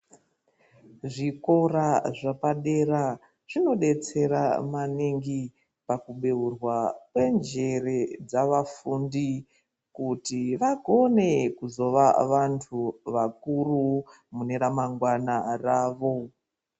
Zvikora zvepadera zvinodetsera maningi pakubeurwa kwenjere dzavafundi, kuti vagone kuzova vanthu vakuru mune ramangwana ravo.